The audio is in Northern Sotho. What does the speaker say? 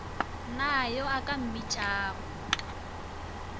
na yo a ka mmakišago